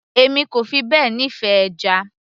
èmi kò fi bẹ́ẹ̀ nífẹ̀ẹ́ ẹja